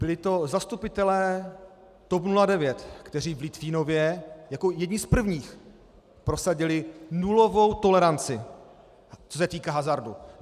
Byli to zastupitelé TOP 09, kteří v Litvínově jako jedni z prvních prosadili nulovou toleranci, co se týká hazardu.